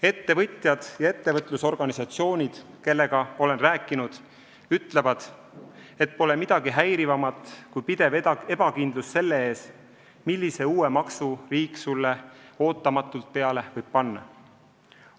Ettevõtjad ja ettevõtlusorganisatsioonid, kellega olen rääkinud, ütlevad, et pole midagi häirivamat kui pidev ebakindlus selle ees, millise uue maksu riik sulle ootamatult peale võib panna.